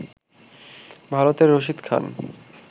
ভারতের রশিদ খান